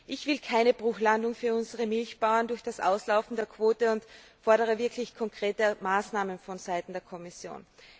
Ich will keine Bruchlandung für unsere Milchbauern durch das Auslaufen der Quote und fordere wirklich konkrete Maßnahmen von Seiten der Kommission.